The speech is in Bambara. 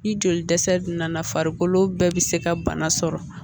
Ni joli dɛsɛ nana farikolo bɛɛ bɛ se ka bana sɔrɔ